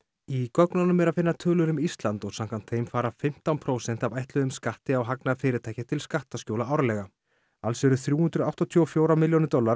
í gögnunum er að finna tölur um Ísland og samkvæmt þeim fara fimmtán prósent af ætluðum skatti á hagnað fyrirtækja til skattaskjóla árlega alls eru þrjú hundruð áttatíu og fjórar milljónir dollara